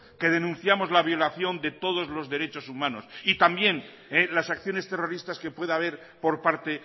que denunciamos la violación de todos los derechos humanos y también las acciones terroristas que pueda haber por parte